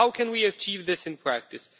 How can we achieve this in practice?